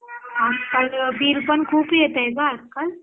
अ कारण वीज बिल पण खूप येतंय ग आज काल